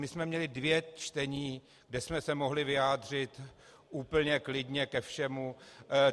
My jsme měli dvě čtení, kde jsme se mohli vyjádřit úplně klidně ke všemu.